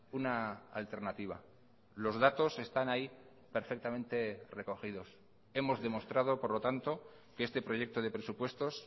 una alternativa los datos están ahí perfectamente recogidos hemos demostrado por lo tanto que este proyecto de presupuestos